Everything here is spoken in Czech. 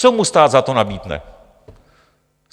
Co mu stát za to nabídne?